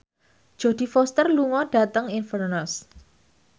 Jodie Foster lunga dhateng Inverness